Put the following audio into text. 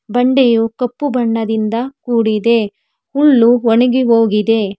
ಬಂಡೆಯು ಕಪ್ಪು ಬಣ್ಣದಿಂದ ಕೂಡಿದೆ ಹುಲ್ಲು ಒಣಗಿ ಹೋಗಿದೆ.